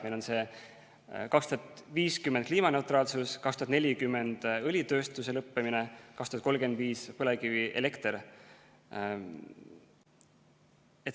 Meil on 2050 kliimaneutraalsus, 2040 õlitööstuse lõppemine, 2035 põlevkivielekter.